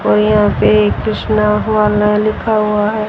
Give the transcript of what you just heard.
और यहां पे एक कृष्णा हुआ नय लिखा हुआ है।